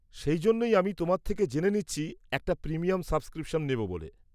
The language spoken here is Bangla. সেই জন্যই আমি তোমার থেকে জেনে নিচ্ছি একটা প্রিমিয়াম সাবস্ক্রিপশন নেব বলে।